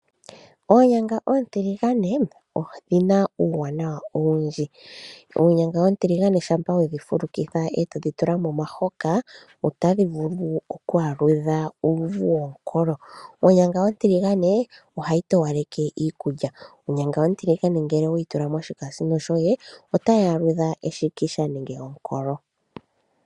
Onyanga oontiligane odhina uuwanawa owundji . Onyanga oontiligane ngele wedhi fulukitha etodhi tula momahoka otadhi vulu okuku aludha uuvu womukolo. Onyanga ontiligane ohayi towaleke iikulya , onyanga ontiligane ngele oweyi tula moshikamisino , ohayi aludha uuvu weshinikisha nomukolo.